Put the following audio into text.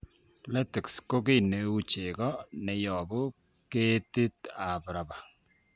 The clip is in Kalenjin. Latex ko kii neuu chegoo neyobu ketit ab rubber